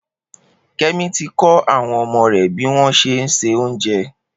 Kemi ti kọ awọn ọmọ rè biwọn ṣé n sé óoùnjẹ